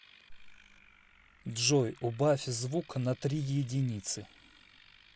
джой убавь звук на три еденицы